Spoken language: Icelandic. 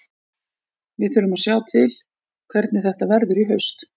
Við þurfum að sjá til hvernig þetta verður í haust.